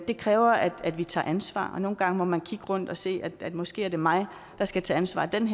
det kræver at vi tager ansvar og nogle gange må man kigge rundt og sige måske er det mig der skal tage ansvar denne